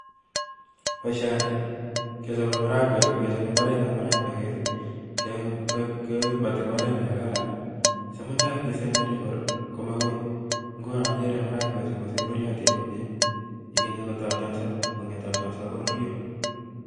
Boishoni kechobe maaragwek, kichope imbaret Nebo maragwek, ko kibooti mbaret nekaran I,si mutai kesemberii komaui, ngunon akere maragwek chu ko sembereton I,ak kinye konde tabtook yekakonde tabtook koruryoo